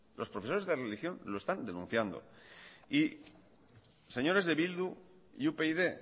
señores de eh bildu y upyd